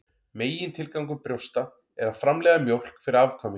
Megintilgangur brjósta er að framleiða mjólk fyrir afkvæmi.